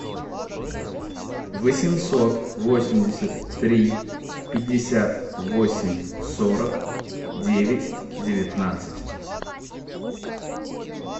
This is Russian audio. восемьсот восемьдесят три пятьдесят восемь сорок девять девятнадцать